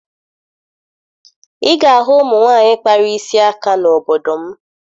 Ị ga-ahụ ụmụ nwaanyị kpara isi aka n'obodo m